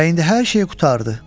Və indi hər şey qurtardı.